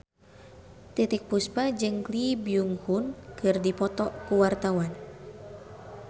Titiek Puspa jeung Lee Byung Hun keur dipoto ku wartawan